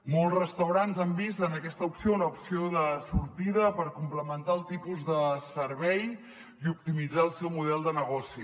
molts restaurants han vist en aquesta opció una opció de sortida per complementar el tipus de servei i optimitzar el seu model de negoci